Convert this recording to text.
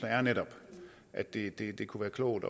er netop at det det kunne være klogt